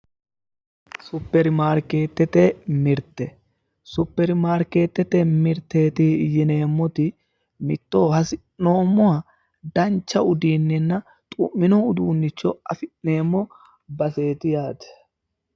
Superimaarkeetete mirte, Superimaarkeetete mirteeti yineemmoti mitto hasi'noommoha dancha uduunnenna xu'mino uduunnicho afi'neemmo baseeti yaate.